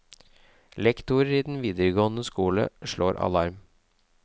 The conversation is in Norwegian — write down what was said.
Lektorer i videregående skole slår alarm.